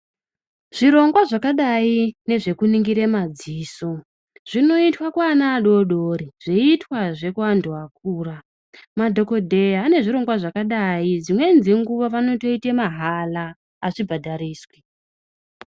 Zvirongwa zvakadai nezve kuningire madziso zvinoitwa kuana adoodori, zveiitwazve kuantu akura. Madhogodheya ane zvirongwa zvakadai. Dzimweni dzenguva vanotoite mahala, hazvi bhadhariswi.